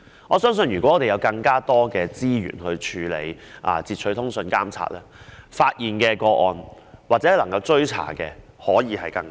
我相信，若有更多資源處理截取通訊監察，能夠發現或追查的個案會更多。